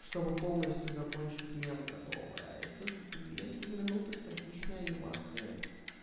чтобы полностью закончить мем готовая это две три минуты статичные анимация